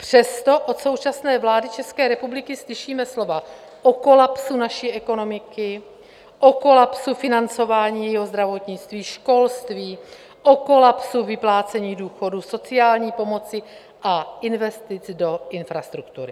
Přesto od současné vlády České republiky slyšíme slova o kolapsu naší ekonomiky, o kolapsu financování jejího zdravotnictví, školství, o kolapsu vyplácení důchodů, sociální pomoci a investic do infrastruktury.